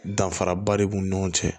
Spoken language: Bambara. Danfaraba de b'u ni ɲɔgɔn cɛ